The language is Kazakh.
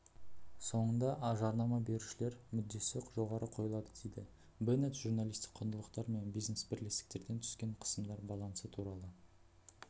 соңында жарнама берушілер мүддесі жоғары қойылады дейді беннет журналистік құндылықтар мен бизнес бірлестіктерден түскен қысымдар балансы туралы